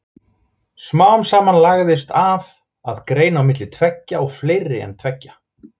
Smám saman lagðist af að greina á milli tveggja og fleiri en tveggja.